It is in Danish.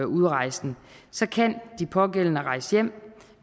udrejsen kan de pågældende rejse hjem